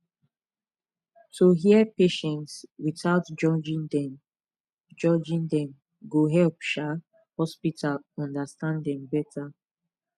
to hear patients without judging dem judging dem go help um hospital understand dem better